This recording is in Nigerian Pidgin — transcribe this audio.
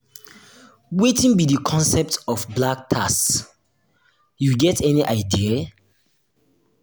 wetin be di concept of "black tax" you get any idea?